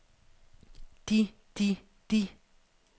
de de de